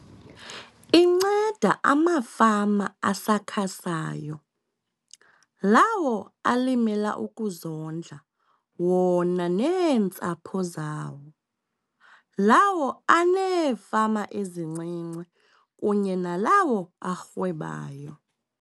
Inceda amafama asakhasayo, lawo alimela ukuzondla wona neentsapho zawo, lawo aneefama ezincinci kunye nalawo arhwebayo.